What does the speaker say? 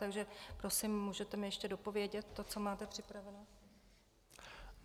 Takže prosím, můžete mi ještě dopovědět to, co máte připravené?